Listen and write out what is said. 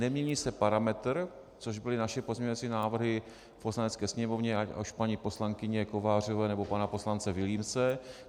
Nemění se parametr, což byly naše pozměňovací návrhy v Poslanecké sněmovně, ať už paní poslankyně Kovářové, nebo pana poslance Vilímce.